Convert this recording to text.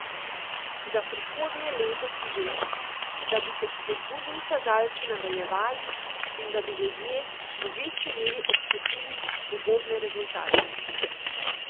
Za prihodnje leto si želi, da bi se spodbudni kazalci nadaljevali in da bi ljudje v večji meri občutili ugodne rezultate.